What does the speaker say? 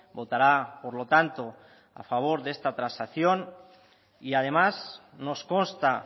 votará por lo tanto a favor de esta transacción y además nos consta